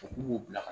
bila ka